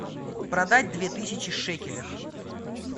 продать две тысячи шекелей